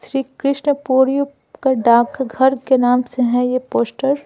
श्री कृष्ण पोर्य का डाकं घर के नाम से है यह पोस्टर --